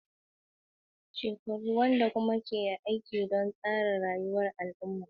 Ana girmama daidaikun mutane da lakabi da tsarin shekaru, wanda kuma ke aiki don tsara rayuwar al'umma.